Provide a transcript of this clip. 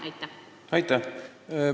Aitäh!